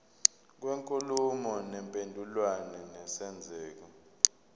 kwenkulumo mpendulwano nesenzeko